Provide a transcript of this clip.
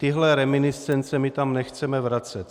Tyhle reminiscence my tam nechceme vracet.